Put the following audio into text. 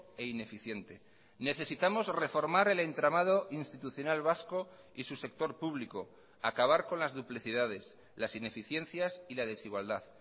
e ineficiente necesitamos reformar el entramado institucional vasco y su sector público acabar con las duplicidades las ineficiencias y la desigualdad